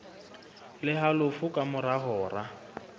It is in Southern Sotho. le halofo ka mora hora